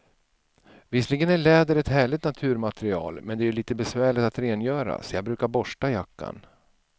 Visserligen är läder ett härligt naturmaterial, men det är lite besvärligt att rengöra, så jag brukar borsta jackan.